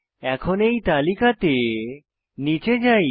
এখন তালিকা তে নীচে যাই